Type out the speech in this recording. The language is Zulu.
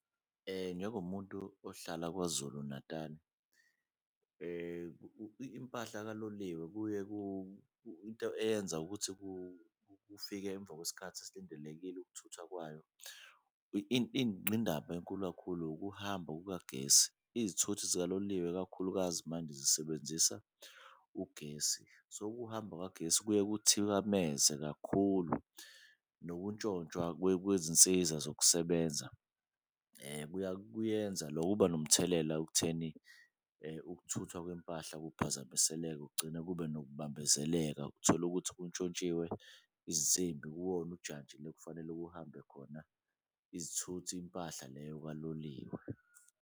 Njengomuntu ohlala KwaZulu-Natal-i impahla kaloliwe kuye into eyenza kufike emva kwesikhathi esilindelekile ukuthuthwa kwayo, enkulu kakhulu ukuhamba kukagesi. Izithuthi zikaloliwe ikakhulukazi manje zisebenzisa ugesi, so ukuhamba kukagesi kuye kuthikameze kakhulu nokuntshontshwa kwezinsiza zokusebenza kuyenza . Kuba nomthelela ekutheni ukuthuthwa kwempahla kuphazamiseleke kugcine kube nokubambezeleka, utholukuthi kuntshontshiwe izinsimbi kuwona ujantshi le ekufanele kuhambe khona izithuthi impahla leyo kaloliwe.